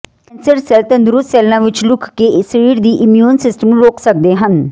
cancer cell ਤੰਦਰੁਸਤ ਸੈੱਲਾਂ ਵਿਚ ਲੁਕ ਕੇ ਸਰੀਰ ਦੀ ਇਮਿਊਨ ਸਿਸਟਮ ਨੂੰ ਰੋਕ ਸਕਦੇ ਹਨ